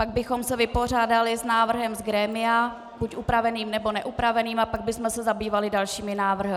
Pak bychom se vypořádali s návrhem z grémia, buď upraveným, nebo neupraveným, a pak bychom se zabývali dalšími návrhy.